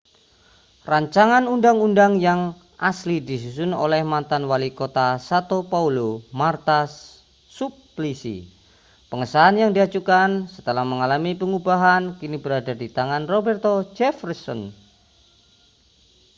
rancangan undang-undang yang asli disusun oleh mantan walikota sã£o paulo marta suplicy. pengesahan yang diajukan setelah mengalami pengubahan kini berada di tangan roberto jefferson